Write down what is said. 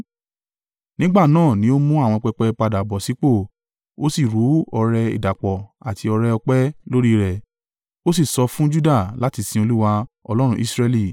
Nígbà náà ni ó mú àwọn pẹpẹ padà bọ̀ sípò. Ó sì rú ọrẹ ìdàpọ̀ àti ọrẹ-ọpẹ́ lórí rẹ̀. Ó sì sọ fún Juda láti sin Olúwa, Ọlọ́run Israẹli.